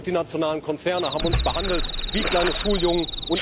Die multinationalen Konzerne haben uns behandelt wie kleine Schuljungen.